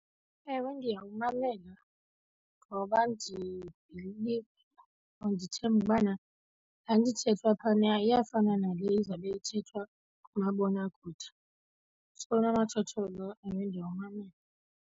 Ewe, ndiyawumamela ngoba ndibhiliva or ndithemba ubana laa nto ithethwa phana iyafana nale izawube ithethwa kumabonakude. So unomathotholo, ewe, ndiyawumamela.